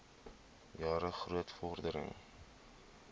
jare groot vordering